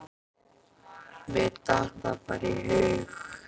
Mér datt það bara í hug.